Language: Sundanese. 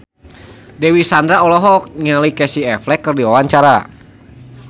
Dewi Sandra olohok ningali Casey Affleck keur diwawancara